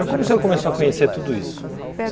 Mas como o senhor começou a conhecer tudo isso?